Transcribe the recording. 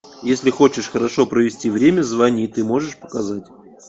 если хочешь хорошо провести время звони ты можешь показать